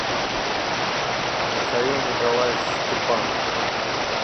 михаил николаевич степанов